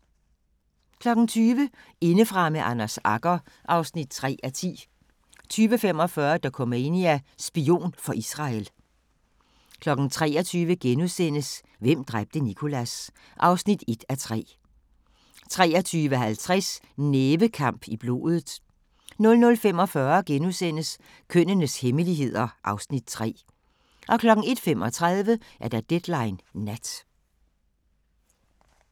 20:00: Indefra med Anders Agger (3:10) 20:45: Dokumania: Spion for Israel 23:00: Hvem dræbte Nicholas? (1:3)* 23:50: Nævekamp i blodet 00:45: Kønnenes hemmeligheder (Afs. 3)* 01:35: Deadline Nat